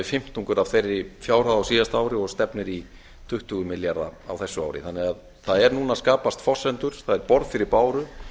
fimmtungur af þeirri fjárhæð á síðasta ári og stefnir í tuttugu milljarða á þessu ári þannig að það eru núna að skapast forsendur það er borð fyrir báru